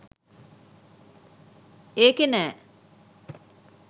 ඒකෙ නෑ